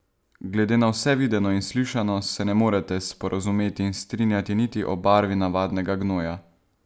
Glede na vse videno in slišano se ne morete sporazumeti in strinjati niti o barvi navadnega gnoja!